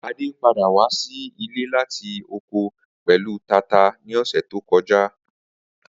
Ade pada wa si ile lati oko pẹlu tata ni ọsẹ to kọja.